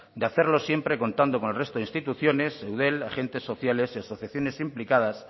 de hacerlo siempre contando con el resto de instituciones eudel agentes sociales y asociaciones implicadas